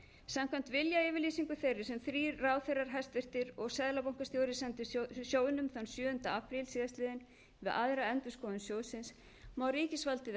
samkvæmt viljayfirlýsingu þeirri sem þrír hæstvirtir ráðherrar og seðlabankastjóri sendu sjóðnum þann sjöunda apríl síðastliðinn við aðra endurskoðun sjóðsins má ríkisvaldið